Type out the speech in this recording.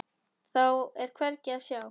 Þá er hvergi að sjá.